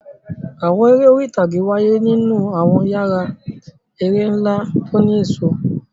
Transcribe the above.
Àwọn eré orí ìtàgé wáyé nínú àwọn yàrá eré ńlá tó ní ẹ̀ṣọ́.